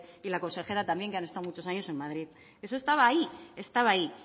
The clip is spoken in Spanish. y la consejera también que han estado muchos años en madrid eso estaba ahí estaba ahí